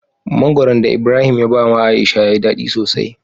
Mangoron da ibrahim ya bawa aisha yayi dadi sosai